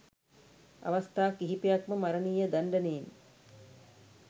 අවස්ථා කිහිපයක්ම මරණීය දණ්ඩනයෙන්